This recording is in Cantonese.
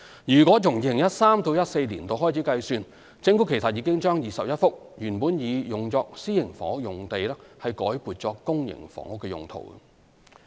如自 2013-2014 年度開始計算，政府其實已將21幅原擬作私營房屋用地改撥作公營房屋用途。